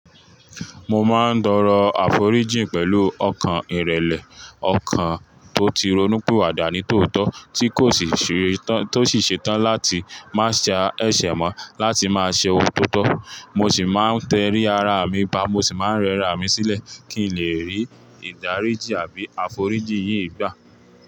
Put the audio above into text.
Mo máa ń torọ àforíjìn pẹ̀lú ọkàn ìrẹ̀lẹ̀, ọkàn tó ti ronú piwada ni tòótọ́ tikosì see tan ti o si ṣetán láti máa ṣe ẹ̀ṣẹ̀ mọ́, láti máa ṣe òun to tó. Mo sì máa ń tẹrí ara mi ba, mo sì máa ń rẹra mi sílẹ̀ kí n lè rí ìdáríjì àbí àforíjìn yíi gbà.